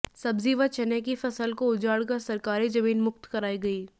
सब्जी व चने की फसल को उजाड़ कर सरकारी जमीन मुक्त कराई गई